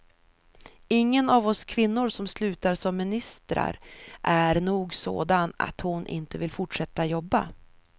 Ingen av oss kvinnor som slutar som ministrar är nog sådan att hon inte vill fortsätta jobba.